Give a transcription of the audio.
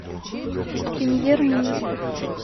премьер министр